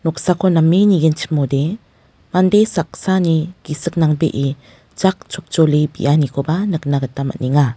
noksako name nigenchimode mande saksani gisik nangbee jak chopjole bianikoba nikna gita man·enga.